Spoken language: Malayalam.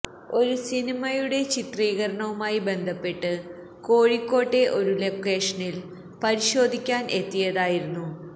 ഒരു സിനിമയുടെ ചിത്രീകരണവുമായി ബന്ധപ്പെട്ട് കോഴിക്കോട്ടെ ഒരു ലൊക്കേഷന് പരിശോധിക്കാന് എത്തിയതായിരുന്നു